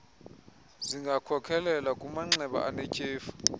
zingakhokelela kumanxeba anetyhefu